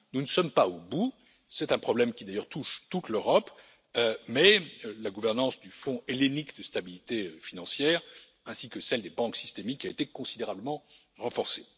Nous ne sommes pas au bout, c'est un problème qui d'ailleurs touche toute l'Europe, mais la gouvernance du Fonds hellénique de stabilité financière, ainsi que celle des banques systémiques a été considérablement renforcée.